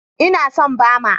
Ina son Bama.